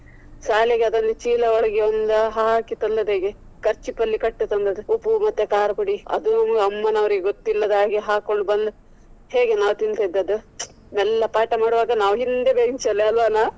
ಶಾಲೆಗೆ ಅದನ್ನು ಚೀಲ ಒಳಗೆ ಒಂದು ಹಾಕಿ ತಂದದ್ದು ಹೇಗೆ. kerchief ಅಲ್ಲಿ ಕಟ್ಟು ತಂದದ್ದು ಉಪ್ಪು ಮತ್ತೆ ಕಾರದಪುಡಿ ಅದು ಅಮ್ಮ ನವ್ರಿಗೆ ಗೊತ್ತಿಲ್ಲದ ಹಾಗೆ ಹಾಕೊಂಡು ಬಂದು ಹೇಗೆ ನಾವು ತಿನ್ನತ್ತಿದ್ದದ್ದು. ಮೆಲ್ಲ ಪಾಠ ಮಾಡ್ವಾಗ ನಾವು ಹಿಂದೆ bench ಅಲ್ಲಿ ಅಲ್ವಾನಾ.